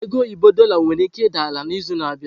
Ego oyibo Dorlar nwere ike ịda ala n'izu na-abịa.